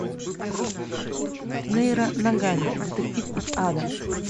нейро ногами детектив из ада